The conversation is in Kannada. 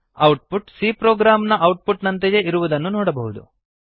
ಔಟ್ ಪುಟ್ c ಪ್ರೊಗ್ರಾಮ್ ನ ಔಟ್ ಪುಟ್ ನಂತೆಯೇ ಇರುವುದನ್ನು ನೋಡಬಹುದು